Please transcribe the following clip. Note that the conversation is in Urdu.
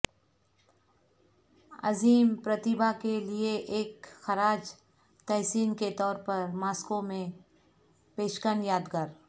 عظیم پرتیبھا کے لئے ایک خراج تحسین کے طور پر ماسکو میں پشکن یادگار